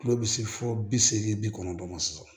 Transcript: Tulo bi se fɔ bi seegin bi kɔnɔntɔn ma sɔrɔ